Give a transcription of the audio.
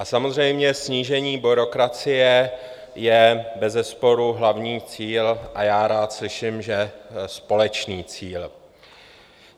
A samozřejmě snížení byrokracie je bezesporu hlavní cíl a já rád slyším, že společný cíl.